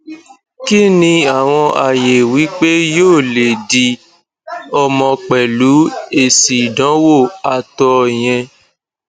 kí ni awon aye wipe yoo le di omo pelu esi idanwo ato yen